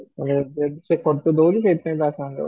ତାହେଲେ ଏବେ ସିଏ ଖର୍ଚ୍ଚ ଦଉଚି ସେଇଥିପାଇଁ ତା ସାଙ୍ଗରେ ଯାଉଛ